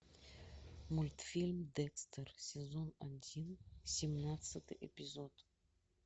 мультфильм декстер сезон один семнадцатый эпизод